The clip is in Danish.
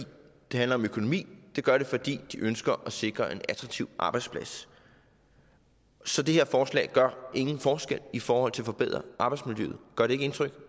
det handler om økonomi det gør de fordi de ønsker at sikre en attraktiv arbejdsplads så det her forslag gør ingen forskel i forhold til at forbedre arbejdsmiljøet gør det ikke indtryk